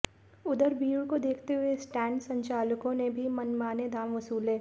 उधर भीड़ को देखते हुए स्टैण्ड संचालकों ने भी मनमाने दाम वसूले